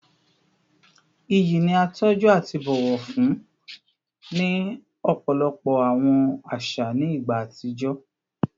Iyi ni a tọju ati bọwọ fun ni ọpọlọpọ awọn aṣa ni igba atijọ